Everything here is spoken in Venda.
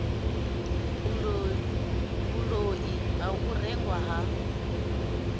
vhuloi ha u rengwa ha